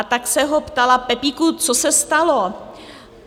A tak se ho ptala, Pepíku, co se stalo?